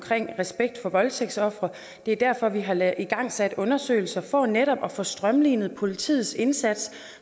respekt for voldtægtsofre det er derfor at vi har igangsat undersøgelser for netop at få strømlinet politiets indsats